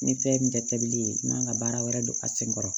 Ni fɛn min tɛ bili ye i man kan ka baara wɛrɛ don a sen kɔrɔ